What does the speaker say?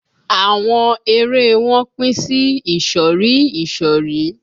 Àwọn ère e wọn pín sí ìsọ̀rí ìsọ̀rí